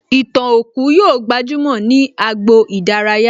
Ìtàn òkú yóò gbajúmò ní agbo ìdárayá